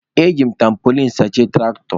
E ji m tampolin sachie tụraktọ.